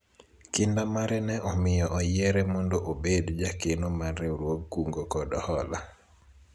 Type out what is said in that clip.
Kinda mare ne omiyo oyiere mondo obed jakeno mar riwruog kungo kod hola